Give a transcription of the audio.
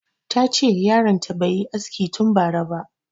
Ta ce yaron ta bai yi aski tun bara ba